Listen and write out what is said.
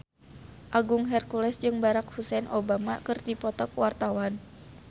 Agung Hercules jeung Barack Hussein Obama keur dipoto ku wartawan